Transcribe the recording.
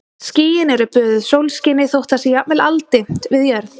Skýin eru böðuð sólskini þótt það sé jafnvel aldimmt við jörð.